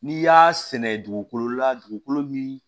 N'i y'a sɛnɛ dugukolo la dugukolo min